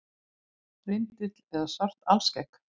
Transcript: Rindill með svart alskegg.